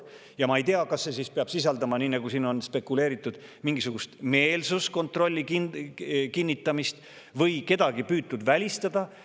Ma ei tea, kas see peab sisaldama, nii nagu siin on spekuleeritud, mingisugust meelsuskontrolli kinnitamist või püütakse kedagi välistada.